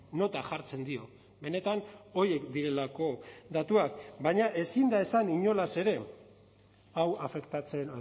nota jartzen dio benetan horiek direlako datuak baina ezin da esan inolaz ere hau afektatzen